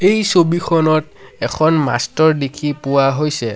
এই ছবিখনত এখন মাষ্টৰ দেখি পোৱা হৈছে।